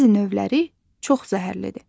Bəzi növləri çox zəhərlidir.